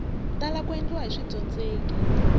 tala ku endliwa hi swidyondzeki